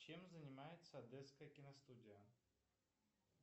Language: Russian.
чем занимается одесская киностудия